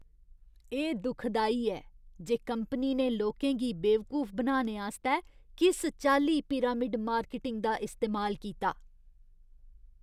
एह् दुखदाई ऐ जे कंपनी ने लोकें गी बेवकूफ बनाने आस्तै किस चाल्ली पिरामिड मार्केटिंग दा इस्तेमाल कीता।